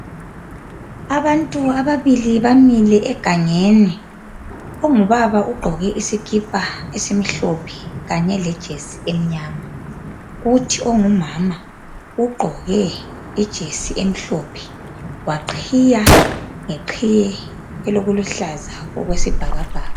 Abantu ababili bamile egangeni. Ongubaba ugqoke isikipa esimhlophe kanye lejesi emnyama. Kuthi ongumama ugqoke ijesi emhlophe, waqhiya ngeqhiye elokuluhlaza okwesibhakabhaka.